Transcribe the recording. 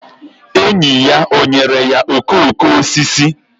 Enyi ya o nyere ya okooko osisi?